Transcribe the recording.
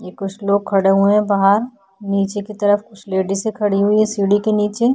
ये कुछ लोग खड़े हुए हैं बाहर नीचे की तरफ कुछ लेडीसे खड़ी हुई हैं सीढ़ी के नीचे --